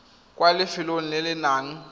kwa lefelong le le nang